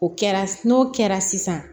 O kɛra n'o kɛra sisan